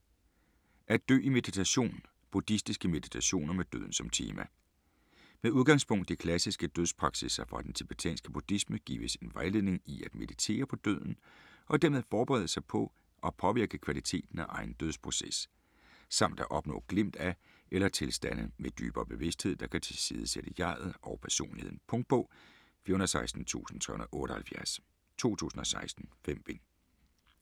At dø i meditation: buddhistiske meditationer med døden som tema Med udgangspunkt i klassiske dødspraksisser fra den tibetanske buddhisme gives en vejledning i at meditere på døden og dermed forberede sig på og påvirke kvaliteten af egen dødsproces, samt at opnå glimt af eller tilstande med dybere bevidsthed, der kan tilsidesætte jeg'et og personligheden. Punktbog 416378 2016. 5 bind.